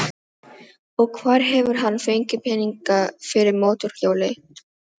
Og hvar hefur hann fengið peninga fyrir mótorhjóli?